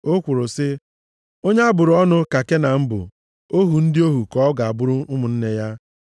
o kwuru sị, “Onye a bụrụ ọnụ ka Kenan bụ! Ohu ndị ohu, ka ọ ga-abụrụ ụmụnne ya.”